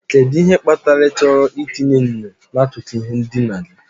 Kedu ihe kpatara ịchọrọ itinye enyo n'akụkụ ihe ndina gị?